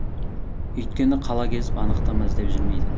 өйткені қала кезіп анықтама іздеп жүрмейді